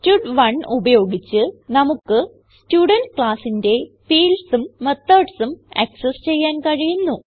സ്റ്റഡ്1 ഉപയോഗിച്ച് നമുക്ക് സ്റ്റുഡെന്റ് classന്റെ fieldsഉം methodsഉം ആക്സസ് ചെയ്യാൻ കഴിയുന്നു